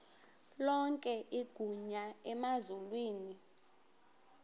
lonke igunya emazulwini